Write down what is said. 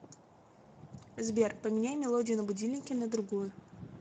сбер поменяй мелодию на будильнике на другую